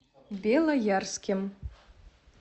белоярским